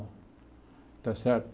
Está certo?